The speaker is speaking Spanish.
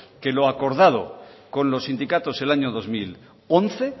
que lo acordado con los sindicatos el año dos mil once